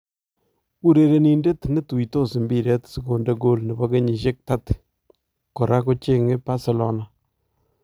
urerenindet netuitos mbiret sikonde kool nebo keyisyek 30 koraa kochenge Barcelona.